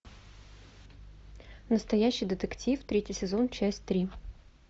настоящий детектив третий сезон часть три